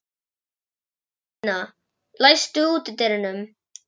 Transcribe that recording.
Valentína, læstu útidyrunum.